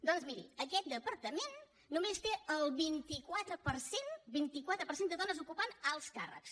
doncs miri aquest departament només té el vint quatre per cent vint quatre per cent de dones ocupant alts càrrecs